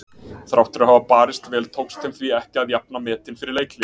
Þrátt fyrir að hafa barist vel tókst þeim því ekki að jafna metin fyrir leikhlé.